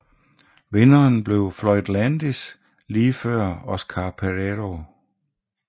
Vinderen blev Floyd Landis lige før Óscar Pereiro